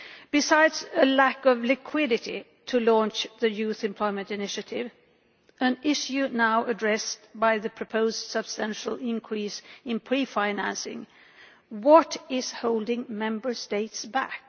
Besides a lack of liquidity to launch the Youth Employment Initiative, an issue now addressed by the proposed substantial increase in pre financing, what is holding Member States back?